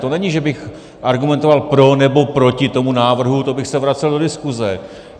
To není, že bych argumentoval pro nebo proti tomu návrhu, to bych se vracel do diskuse.